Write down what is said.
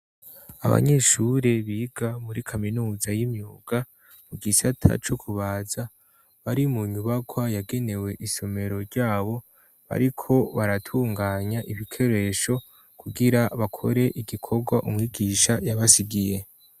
Abanyeshure biga muri Kaminuza y'imyuga mu gisata co kubaza, bari mu nyubakwa yagenewe isomero ryabo, bariko baratunganya ibikoresho kugira bakore igikorwa umwigisha yabasigiye.